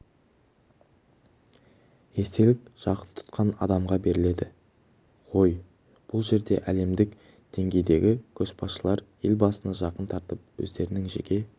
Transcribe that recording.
естелік жақын тұтқан адамға беріледі ғой бұл жерде әлемдік деңгейдегі көшбасшылар елбасыны жақын тартып өздерінің жеке